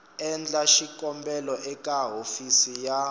endla xikombelo eka hofisi ya